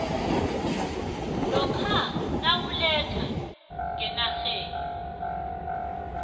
lokha nawuletha ngenarheni